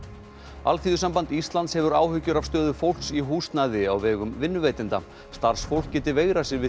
Alþýðusamband Íslands hefur áhyggjur af stöðu fólks í húsnæði á vegum vinnuveitenda starfsfólk geti veigrað sér við